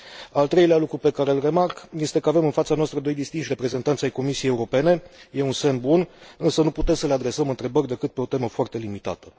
Al treilea lucru pe care îl remarc este că avem în fața noastră doi distinși reprezentanți ai Comisiei Europene e un semn bun, însă nu putem să le adresăm întrebări decât pe o temă foarte limitată.